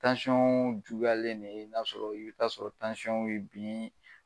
juguyalen de n'a sɔrɔ i bi taa'a sɔrɔ w ye bin